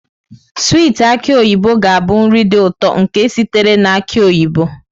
Swiiti aki oyibo ga-abụ nri dị ụtọ nke sitere na aki oyibo.